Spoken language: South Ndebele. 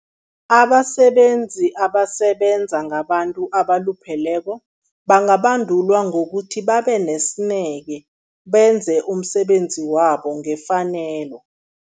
Abasebenzi abasebenza ngabantu abalupheleko, bangabandulwa ngokuthi babe nesineke, benze umsebenzi wabo ngefanelo.